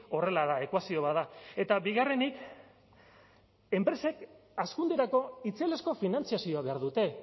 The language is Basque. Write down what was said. horrela da ekuazio bat da eta bigarrenik enpresek hazkunderako itzelezko finantzazioa behar dute